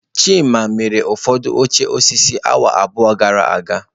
Chima mere ụfọdụ oche osisi awa abụọ gara aga